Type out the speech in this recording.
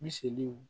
Miseliw